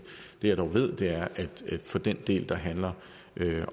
jeg dog ved er at for den del der handler